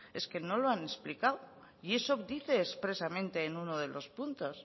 es que no lo han explicado y eso dice expresamente en uno de los puntos